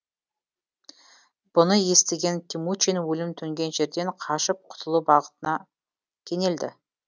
бұны естіген темучин өлім төнген жерден қашып құтылу бақытына кенелді